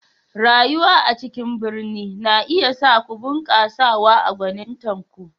Rayuwa a cikin birni na iya sa ku bunƙasawa a gwanintar ku.